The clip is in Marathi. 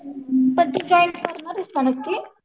हुं पण तू जॉईन्ड करणार आहेस का नक्की?